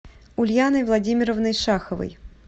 ульяной владимировной шаховой